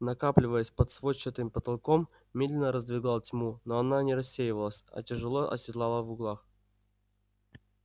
накапливаясь под сводчатым потолком медленно раздвигал тьму но она не рассеивалась а тяжело оседлала в углах